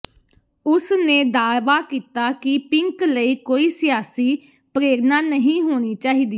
ਉਸ ਨੇ ਦਾਅਵਾ ਕੀਤਾ ਕਿ ਪਿੰਕ ਲਈ ਕੋਈ ਸਿਆਸੀ ਪ੍ਰੇਰਨਾ ਨਹੀਂ ਹੋਣੀ ਚਾਹੀਦੀ